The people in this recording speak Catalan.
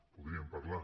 podríem parlar